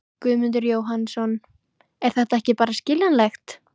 Guðmundur Jóhannsson: Er það ekki bara skiljanlegt?